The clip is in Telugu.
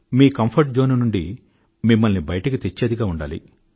మీ కంఫర్ట్ జోన్ నుండి మిమ్మల్ని బయటకు తెచ్చేదిగా ఉండాలి